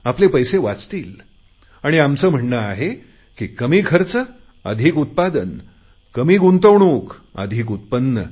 आपले पैसे वाचतील आणि आमचे म्हणणे आहे कमी खर्च अधिक उत्पादन कमी गुंतवणूक अधिक उत्पन्न